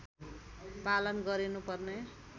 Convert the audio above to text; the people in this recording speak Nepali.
पालन गरिनु पर्ने